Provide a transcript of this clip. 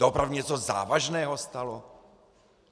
Doopravdy něco závažného stalo?